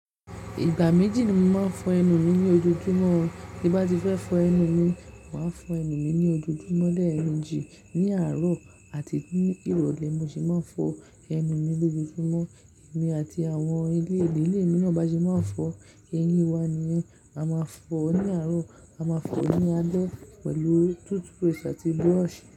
Ìgbà méjì ni mo máa ń fọ ẹnu mi ní ojojúmọ́. Bí bá ti fẹ́ fọ ẹnu mi, màá fọ ẹnu mi ní ojojúmọ́ lẹ́ẹ̀mejì, ní àárọ̀ àti ní ìrọ̀lẹ́ mo sì máa ń fọ ẹnu mi lójoojúmọ́. Èmi àti àwọn ilé ìdílé mi náà bá ṣe máa ń fọ eyín wa ni a máa fọ ní àárọ̀, a máa fọ ní alẹ́ pẹ̀lú toothbrush àti brush.